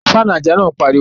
Faanu aja naa npariwo